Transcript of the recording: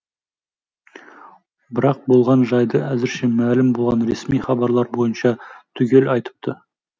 бірақ болған жайды әзірше мәлім болған ресми хабарлар бойынша түгел айтыпты